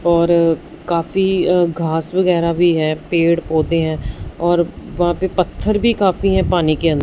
और काफी अ घास वगैरा भी है पेड़ पौधे हैं और वहां पे पत्थर भी काफी है पानी के अंद--